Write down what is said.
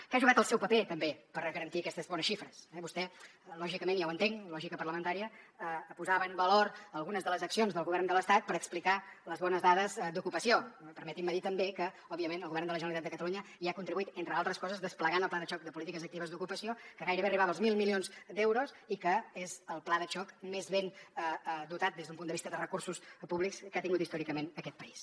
que ha jugat el seu paper també per garantir aquestes bones xifres eh vostè lògicament ja ho entenc lògica parlamentària posava en valor algunes de les accions del govern de l’estat per explicar les bones dades d’ocupació permetin me dir també que òbviament el govern de la generalitat de catalunya hi ha contribuït entre d’altres coses desplegant el pla de xoc de polítiques actives d’ocupació que gairebé arribava als mil milions d’euros i que és el pla de xoc més ben dotat des d’un punt de vista de recursos públics que ha tingut històricament aquest país